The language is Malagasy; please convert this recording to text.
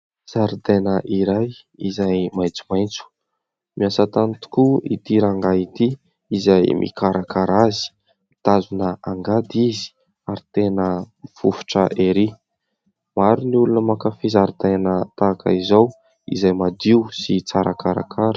Zaridaina iray izay maitsomaitso. Miasa tany tokoa ity rangahy ity izay mikarakara azy. Mitazona angady izy ary tena mifofotra ery. Maro ny olona mankafy zaridaina tahaka izao izay madio sy tsara karakara.